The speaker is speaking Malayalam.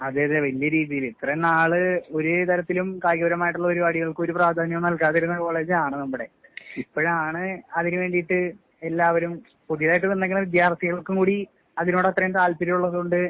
അതെ അതെ വല്യ രീതിയില് ഇത്രയും നാള് ഒരു തരത്തിലും കായികപരമായിട്ടുള്ള പരിപാടികൾക്ക് ഒരു പ്രാധാന്യവും നൽകാതിരുന്ന കോളേജാണ് നമ്മുടെ. ഇപ്പഴാണ് അതിന് വേണ്ടീട്ട് എല്ലാവരും പുതിയതായിട്ട് വന്നേക്കണ വിദ്യാർത്ഥികൾക്ക് കൂടി അതിനോട് അത്രയും താല്പര്യമുള്ളതുകൊണ്ട്